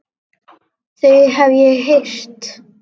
Þau hef ég heyrt.